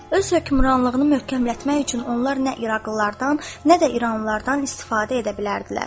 Öz hökmranlığını möhkəmlətmək üçün onlar nə iraqlılardan, nə də iranlılardan istifadə edə bilərdilər.